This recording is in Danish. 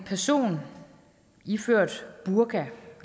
person iført burka